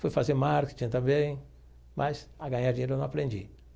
Fui fazer marketing também, mas a ganhar dinheiro eu não aprendi.